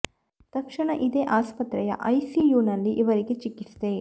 ತಕ್ಷಣ ಇದೇ ಆಸ್ಪತ್ರೆಯ ಐ ಸಿ ಯು ನಲ್ಲಿ ಇವರಿಗೆ ಚಿಕಿತ್ಸೆ